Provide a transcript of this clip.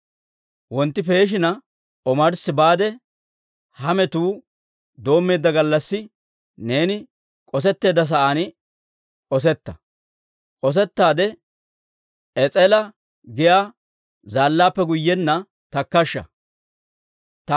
Wontti peeshina omarssi baade, ha metuu doommeedda gallassi neeni k'osetteedda sa'aan k'osetta; k'osettaade Es'ela giyaa zaallaappe guyyenna takkashsha.